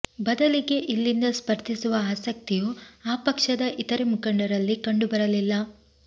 ಬದಲಿಗೆ ಇಲ್ಲಿಂದ ಸ್ಪರ್ಧಿಸುವ ಆಸಕ್ತಿಯೂ ಆ ಪಕ್ಷದ ಇತರೆ ಮುಖಂಡರಲ್ಲಿ ಕಂಡುಬರಲಿಲ್ಲ